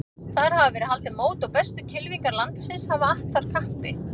Þar hafa verið haldin mót og bestu kylfingar landsins hafa att þar kappi.